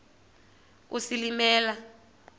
isilimela